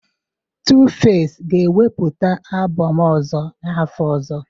Tuface ga-ewepụta album ọzọ n'afọ ọzọ